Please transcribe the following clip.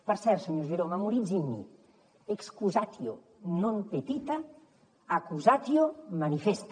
per cert senyor giró memoritzi amb mi excusatio non petita accusatio manifesta